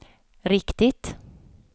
riktigt